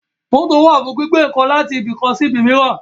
Mótò wà fún gbígbé ǹkan láti ibi kan sí ibò míràn